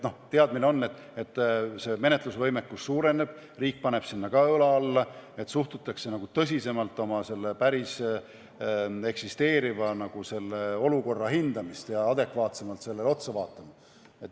Teadmine on, et menetlusvõimekus suureneb, riik paneb ka sinna õla alla, st suhtutakse tõsisemalt ja osatakse oma päris eksisteerivat olukorra hinnata, adekvaatsemalt sellele otsa vaadata.